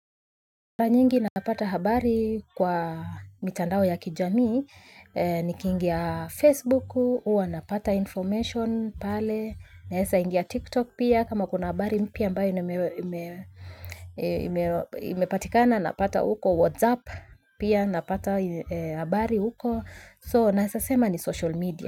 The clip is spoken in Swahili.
Mara nyingi napata habari kwa mitandao ya kijamii, nikiingia Facebook, huwa napata information pale, naweza ingia TikTok pia kama kuna habari mpya ambayo imepatikana, napata huko WhatsApp pia, napata habari huko, so naweza sema ni social media.